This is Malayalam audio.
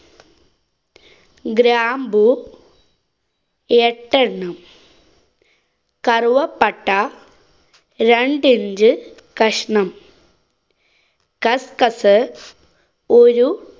ഗ്രാമ്പു എട്ട് എണ്ണം കറുവപ്പട്ട, രണ്ടു inch കഷ്ണം. കസ്കസ്, ഒരു